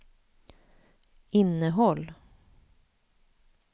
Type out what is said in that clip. innehåll